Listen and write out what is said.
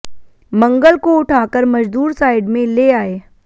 मंगल को उठाकर मजदूर साइड में ले आये